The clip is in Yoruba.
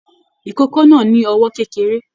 Ìkókó náà ni ọwọ kékeré.